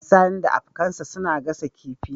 Sani da abkansa suna gasa kifi